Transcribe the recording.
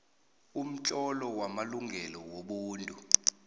umtlolo wamalungelo wobuntu